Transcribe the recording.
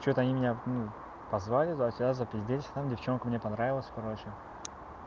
что-то они меня ну позвали за тебя за попиздеть там девчонку мне понравилась короче